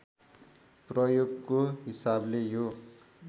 प्रयोगको हिसाबले यो